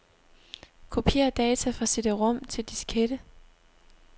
Kopier data fra cd-rom til diskette.